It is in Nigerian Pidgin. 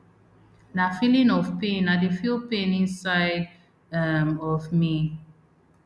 na feeling of pain i dey feel pain inside um of me